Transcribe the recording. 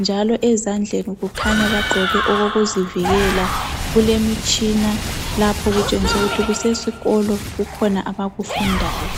njalo ezandleni kukhanya bagqoke okokuzivikela. Kulemitshina lapha okutshengisa ukuthi kusesikolo kukhona abakufundayo